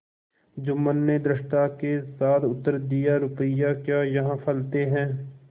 जुम्मन ने धृष्टता के साथ उत्तर दियारुपये क्या यहाँ फलते हैं